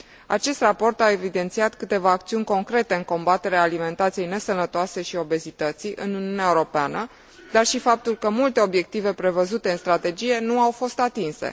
Acest raport a evidențiat câteva acțiuni concrete în combaterea alimentației nesănătoase și obezității în Uniunea Europeană, dar și faptul că multe obiective prevăzute în strategie nu au fost atinse.